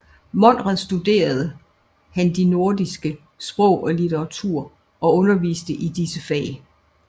Monrad studerede han de nordiske sprog og litteraturer og underviste i disse fag